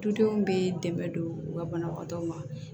Dudenw bɛ dɛmɛ don u ka banabagatɔw ma